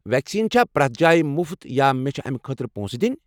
Vaccine چھا پرٮ۪تھ جایہ مُفت یا مےٚ چھِ امہ خٲطرٕ پونٛسہٕ دِنۍ؟